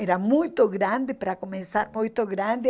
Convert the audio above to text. Era muito grande para começar, muito grande.